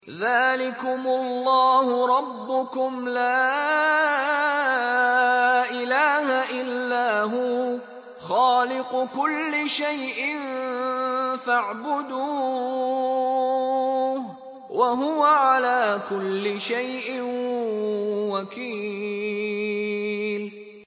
ذَٰلِكُمُ اللَّهُ رَبُّكُمْ ۖ لَا إِلَٰهَ إِلَّا هُوَ ۖ خَالِقُ كُلِّ شَيْءٍ فَاعْبُدُوهُ ۚ وَهُوَ عَلَىٰ كُلِّ شَيْءٍ وَكِيلٌ